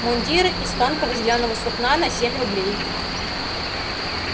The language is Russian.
мундир из тонкого зелёного сукна на семь рублей